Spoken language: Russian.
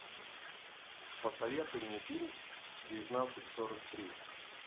посоветуй мне фильм девятнадцать сорок три